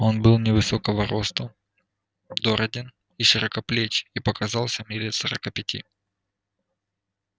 он был невысокого росту дороден и широкоплеч и показался мне лет сорока пяти